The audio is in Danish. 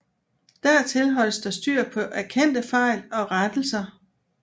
Dertil holdes der styr på erkendte fejl og rettelser